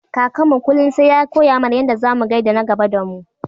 Kakanmu kullum sai ya koya mana yanda zamu gaida na gaba damu.